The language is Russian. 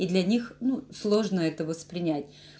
и для них ну сложно это воспринять